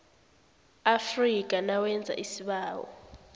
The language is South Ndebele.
afrika nawenza isibawo